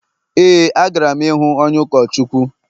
Éè, agara m ịhụ onye ụkọchukwu